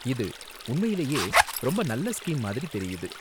இது உண்மையிலேயே ரொம்ப நல்ல ஸ்கீம் மாதிரி தெரியுது.